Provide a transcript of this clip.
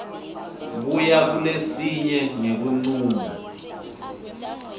kuya kulesinye ngekuncuma